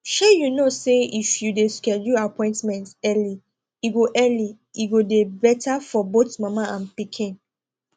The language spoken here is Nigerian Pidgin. shey you know say if you de schedule appointment early e go early e go de better for both mama and pikin